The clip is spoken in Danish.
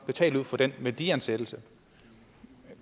betale ud fra den værdiansættelse